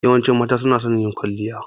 Yawancin mata suna son yin kwalliya.